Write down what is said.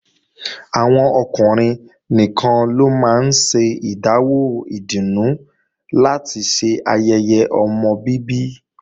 Àwọn ọkùnrin nìkan ló máa ń ṣe ìdáwó ìdùnnú láti ṣe ayẹyẹ ọmọ bíbí